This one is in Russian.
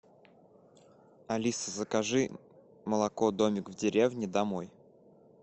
алиса закажи молоко домик в деревне домой